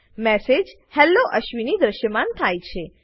message hello Ashwini દ્રશ્યમાન થાય છે